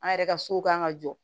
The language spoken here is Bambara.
An yɛrɛ ka so kan ka jɔ